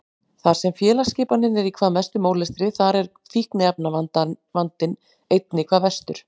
Þar sem félagsskipanin er í hvað mestum ólestri þar er fíkniefnavandinn einnig hvað verstur.